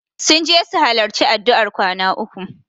Sun je su halarci addu'ar kwana uku.